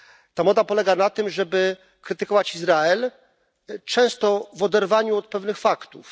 Ta moda polega na tym, żeby krytykować Izrael, często w oderwaniu od pewnych faktów.